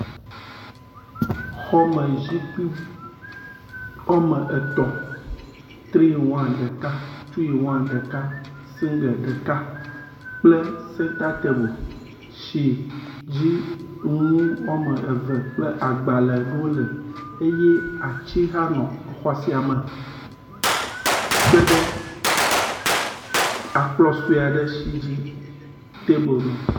Xɔmezikpui wome etɔ̃, tri iŋ wan ɖeka, sigle ɖeka kple sentatabu si dzi nu wome eve kple agbalẽ aɖewo le ye atsi hã nɔ xɔ sia me kpe ɖe akplɔ̃ sue aɖe si dzi tabu nɔ.